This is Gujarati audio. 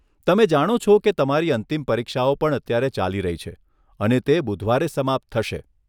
તમે જાણો છો કે તમારી અંતિમ પરીક્ષાઓ પણ અત્યારે ચાલી રહી છે અને તે બુધવારે સમાપ્ત થશે.